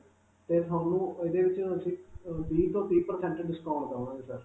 'ਤੇ ਤੁਹਾਨੂੰ ਇਹਦੇ ਵਿਚ ਅਸੀਂ ਅਅ ਵੀਹ ਤੋਂ ਤੀਹ percent discount ਦਵਾਂਗੇ sir.